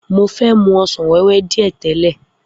Mo fe mu ọsàn wéwé dìé tèle.